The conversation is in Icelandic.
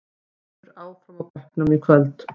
Eiður áfram á bekknum í kvöld